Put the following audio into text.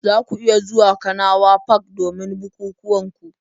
Za ku iya zuwa kanawa park domin bukukuwan ku